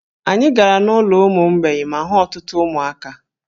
Anyị gara n'ụlọ ụmụ mgbei ma hụ ọtụtụ ụmụaka.